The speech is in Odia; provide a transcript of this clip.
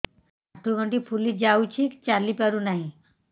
ଆଂଠୁ ଗଂଠି ଫୁଲି ଯାଉଛି ଚାଲି ପାରୁ ନାହିଁ